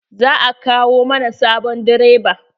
Za a kawo mana sabon direba.